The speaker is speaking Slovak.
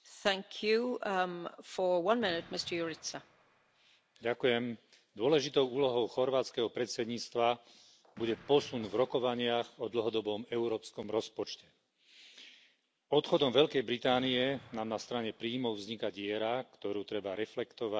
Vážená pani predsedajúca, dôležitou úlohou chorvátskeho predsedníctva bude posun v rokovaniach o dlhodobom európskom rozpočte. Odchodom Veľkej Británie nám na strane príjmov vzniká diera, ktorú treba reflektovať v znížení výdavkov.